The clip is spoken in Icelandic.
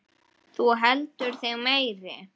Þú heldur þig meiri.